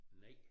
Nej